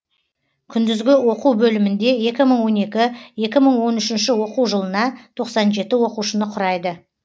күндізгі оқу бөлімінде екі мың он екі екі мың он үшінші оқу жылына тоқсан жеті оқушыны құрайды